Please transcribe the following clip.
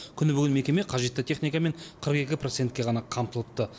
күні бойы мекеме қажетті техникамен қырық екі процентке ғана қамтылыпты